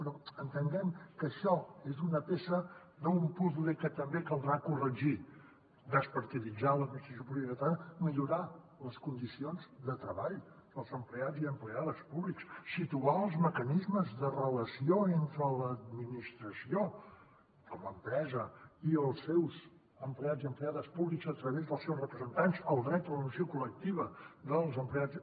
però entenguem que això és una peça d’un puzle que també caldrà corregir despartiditzar l’administració pública catalana millorar les condicions de treball dels empleats i empleades públics situar els mecanismes de relació entre l’administració com a empresa i els seus empleats i empleades públics a través dels seus representants el dret a la negociació col·lectiva dels empleats